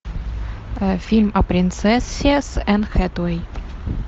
фильм о принцессе с энн хэтэуэй